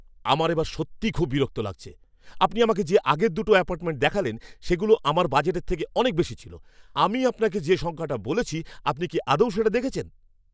আমার এবার সত্যিই খুব বিরক্ত লাগছে। আপনি আমাকে যে আগের দুটো অ্যাপার্টমেন্ট দেখালেন সেগুলো আমার বাজেটের থেকে অনেক বেশি ছিল। আমি আপনাকে যে সংখ্যাটা বলেছি, আপনি কি আদৌ সেটা দেখেছেন?